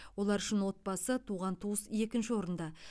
олар үшін отбасы туған туыс екінші орында